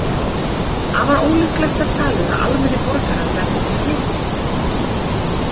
Afar ólíklegt er talið að almennir borgarar verði fyrir smiti.